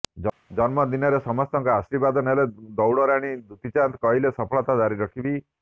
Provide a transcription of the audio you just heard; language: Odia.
ଜନ୍ମଦିନରେ ସମସ୍ତଙ୍କ ଆଶୀର୍ବାଦ ନେଲେ ଦୌଡ଼ ରାଣୀ ଦୂତି ଚାନ୍ଦ କହିଲେ ସଫଳତା ଜାରି ରଖିବି